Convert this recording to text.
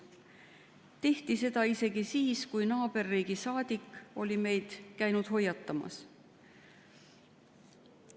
Seda tehti isegi siis, kui naaberriigi saadik oli käinud meid hoiatamas.